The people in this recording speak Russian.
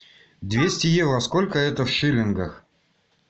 двести евро сколько это в шиллингах